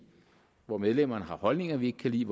hvor medlemmerne har holdninger vi ikke kan lide